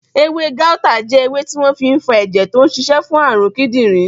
Ewé gáútà jẹ́ ewé tí wọ́n fi n fa ẹ̀jẹ̀ tó n ṣiṣẹ́ fún àrùn kídìnrín